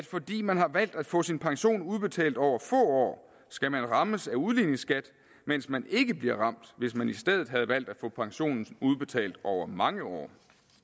fordi man har valgt at få sin pension udbetalt over få år skal rammes af udligningsskatten mens man ikke ville blive ramt hvis man i stedet havde valgt at få pensionen udbetalt over mange år